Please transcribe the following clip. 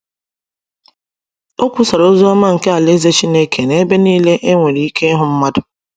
O kwusara ozi ọma nke Alaeze Chineke n’ebe niile e nwere ike ịhụ mmadụ.